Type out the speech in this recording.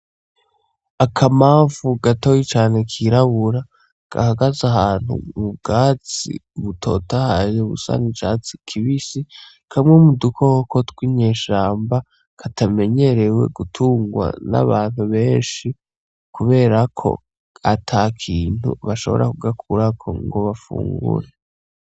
Akamamfu gatoyi cane kirabura, gahagaze ahantu mubwatsi butotahaye busa n'icatsi kibisi, kamwe mudukoko tw'inyeshamba katamenyerewe gutungwa n'abantu benshi, kubera ko atakintu bashobora kugakurako ngo bafungure.